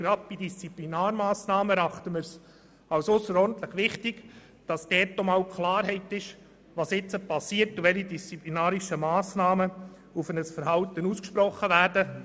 Gerade bei Disziplinarmassnahmen erachten wir es als ausserordentlich wichtig, dass Klarheit herrscht über die Frage, was jetzt passiert und welche disziplinarischen Massnahmen aufgrund eines Verhaltens ausgesprochen werden.